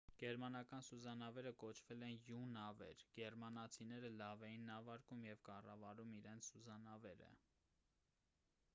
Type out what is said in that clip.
գերմանական սուզանավերը կոչվել են յու նավեր գերմանացիները լավ էին նավարկում և կառավարում իրենց սուզանավերը